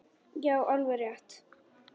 Já, alveg rétt!